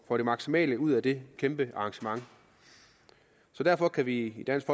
får det maksimale ud af det kæmpe arrangement derfor kan vi i dansk